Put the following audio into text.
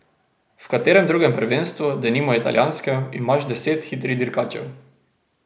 V katerem drugem prvenstvu, denimo italijanskem, imaš deset hitrih dirkačev.